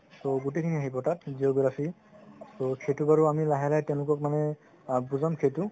ত গুতেই খিনি আহিব তাত geography ত সেইটো বাৰু লাহে লাহে তেওঁলোকক মানে আ বুজাম সেইটো